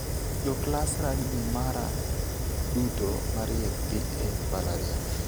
Joklas rugby mara duto mariek dhi e mbalarieny.